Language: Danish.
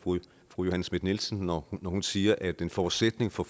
fru johanne schmidt nielsen når hun siger at en forudsætning for